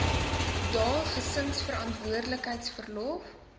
dae gesinsverantwoordelikheid verlof